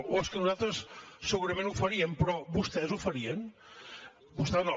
oh és que nosaltres segurament ho faríem però vostès ho farien vostè no